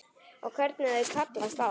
Og hvernig þau kallast á.